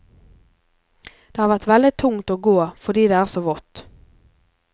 Det har vært veldig tungt å gå fordi det er så vått.